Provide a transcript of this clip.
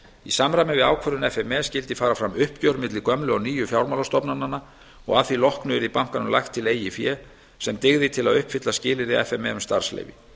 ákvörðun f m e skyldi fara fram uppgjör milli gömlu og nýju fjármálastofnananna og að því loknu yrði bankanum lagt til eigið fé sem dygði til að uppfylla skilyrði f m e um starfsleyfi